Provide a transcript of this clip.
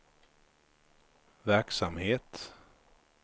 verksamhet